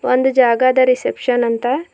ಒಂದು ಜಾಗ ಅದ ರಿಸೆಪ್ಶನ್ ಅಂತ.